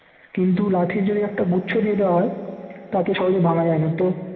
কিন্তু লাঠির যদি একটা গুচ্ছ দিয়ে দেওয়া হয় তাকে সহজে ভাঙা যায় না তো